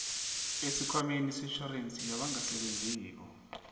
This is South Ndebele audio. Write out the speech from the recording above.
esikhwameni setjhorensi yabangasebenziko